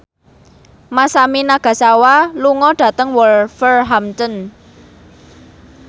Masami Nagasawa lunga dhateng Wolverhampton